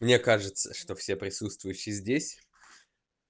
мне кажется что все присутствующие здесь